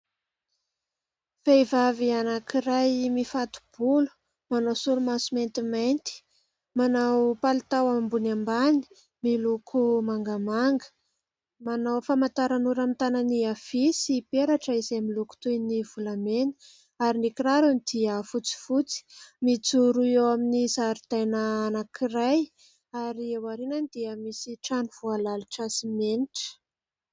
Vehivavy anankiray mifato-bolo ; manao solomaso maintimainty ; manao palitao ambony ambany miloko manga manga ; manao famantaranora amin'ny tanany avia sy peratra izay miloko toy ny volamena ; ary ny kirarony dia fotsifotsy. Mijoro eo amin'ny zaridaina anankiray ary ao aoriany dia misy trano voalalotra simenitra.